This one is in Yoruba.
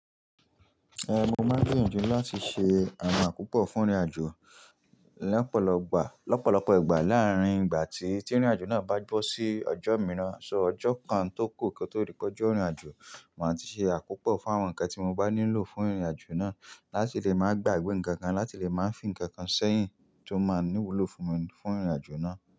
Ehn, mo máa gbiyanju ju láti ṣe àrà púpọ̀ fún ìrìnàjò lẹ́pọ̀lọ́pọ̀ ìgbà. Lọ́pọ̀lọ́pọ̀ ìgbà láàárín ìgbà tí tí ìrìnàjò náà bá gbọ́ sí ọjọ́ mìíràn, sọ ọjọ́ kan tó kù kí ó tó rí pẹ́jọ́ ìrìnàjò, màá ti ṣe àkópọ̀ fún àwọn ǹkan tí mo bá nílò fún ìrìnàjò náà láti lè máa gba ìwé ǹkan kan láti lè máa fín ǹkan kan sẹ́yìn tó máa níwùlò fún mi fún ìrìnàjò náà.